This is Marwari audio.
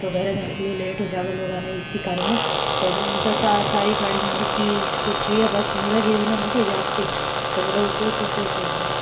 तो घर जाने के लिए लेट हो जाव लोग न इ कारण --